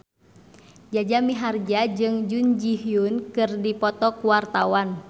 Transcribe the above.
Jaja Mihardja jeung Jun Ji Hyun keur dipoto ku wartawan